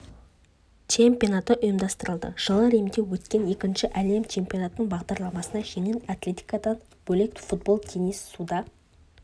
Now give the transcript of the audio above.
чемпионаты ұйымдастырылды жылы римде өткен екінші әлем чемпионатының бағдарламасына жеңіл атлетикадан бөлек футбол теннис суда